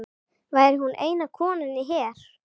Væri hún eina konan í her